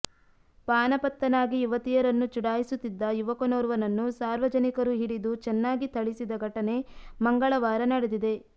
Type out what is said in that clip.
ಪಾನಪತ್ತನಾಗಿ ಯುವತಿಯರನ್ನು ಚುಡಾಯಿಸುತ್ತಿದ್ದ ಯುವಕನೋರ್ವನನ್ನು ಸಾರ್ವಜನಿಕರು ಹಿಡಿದು ಚೆನ್ನಾಗಿ ಥಳಿಸಿದ ಘಟನೆ ಮಂಗಳವಾರ ನಡೆದಿದೆ